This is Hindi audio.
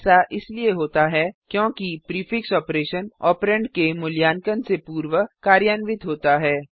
ऐसा इसलिए होता है क्योंकि प्रीफिक्स ऑपरेशन ऑपरेंड के मूल्यांकन से पूर्व कार्यान्वित होता है